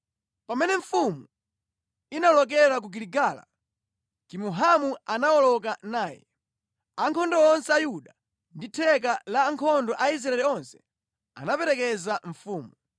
Pamene mfumu inawolokera ku Giligala, Kimuhamu anawoloka naye. Ankhondo onse a Yuda ndi theka la ankhondo a Israeli onse anaperekeza mfumu.